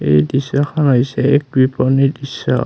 এই দৃশ্যখন হৈছে এক কৃপনিৰ দৃশ্য।